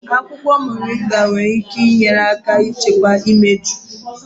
Akwukwo Moringa nwere ike inye aka n'ichekwa imeju.